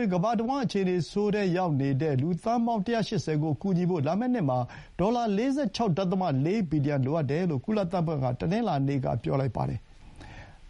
ပ်” ကမ္ဘာတဝှမ်း အခြေအနေဆိုးထဲရောက်နေရတဲ့ လူသန်းပေါင်း ၁၈၀ ကို ကူညီဖို့ လာမယ့်နှစ်မှာ ဒေါ်လာ ၄၆.၄ ဘီလီယံ လိုအပ်တယ်လို့ ကုလသမဂ္ဂက တနင်္လာနေ့က ပြောလိုက်ပါတယ်။